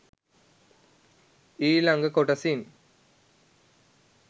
ඊලඟ කොටසින්.